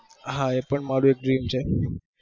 હાલ મારું ત dream છે